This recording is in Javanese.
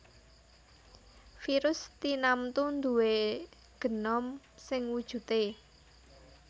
Virus tinamtu nduwé genom sing wujudé